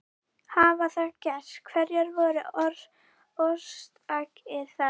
Hafi það gerst hverjar voru orsakir þess?